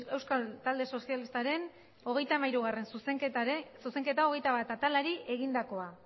euskal talde sozialistaren hogeita hamairugarrena zuzenketa hogeita bat atalari egindakoa